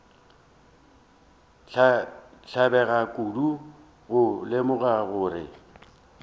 tlabega kudu go lemoga gore